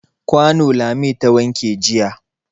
Kwano Lami ta wanke jiya.